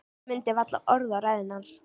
Ég mundi varla orð af ræðunni hans.